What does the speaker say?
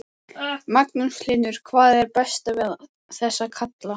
Magnús Hlynur: Hvað er best við þessa kalla?